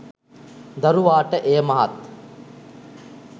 දරුවාට එය මහත්